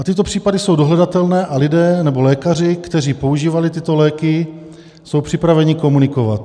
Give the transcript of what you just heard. A tyto případy jsou dohledatelné a lidé, nebo lékaři, kteří používali tyto léky, jsou připraveni komunikovat.